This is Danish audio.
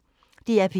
DR P1